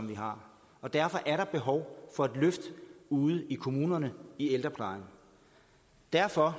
vi har og derfor er der behov for et løft ude i kommunerne i ældreplejen derfor